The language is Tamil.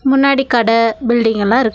முன்னாடி கட பில்டிங் எல்லா இருக்--